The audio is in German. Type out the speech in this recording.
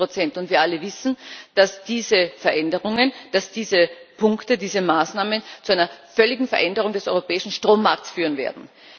27 Wir alle wissen, dass diese Veränderungen, dass diese Punkte, diese Maßnahmen zu einer völligen Veränderung des europäischen Strommarkts führen werden.